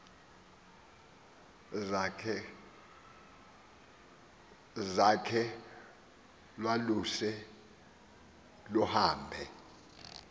zakhe lwaluse luhambe